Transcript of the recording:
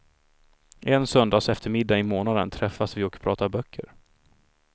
En söndagseftermiddag i månaden träffas vi och pratar böcker.